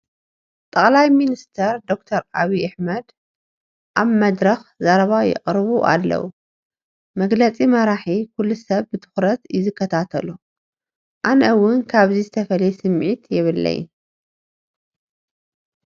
ጠቅላይ ሚኒስትር ዶክተር ዓብዪ ኣሕመድ ኣብ መድረኽ ዘረባ የቕርቡ ኣለዉ፡፡ መግለፂ መራሒ ኩሉ ሰብ ብትኹረት እዩ ዝከታተሎ፡፡ ኣነ እውን ካብዚ ዝተፈለየ ስምዒት የብለይን፡፡